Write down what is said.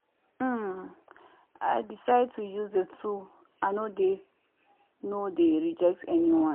um i decide to use the two i no dey no dey reject anyone.